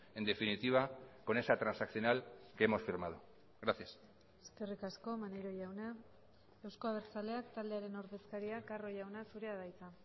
en definitiva con esa transaccional que hemos firmado gracias eskerrik asko maneiro jauna euzko abertzaleak taldearen ordezkaria carro jauna zurea da hitza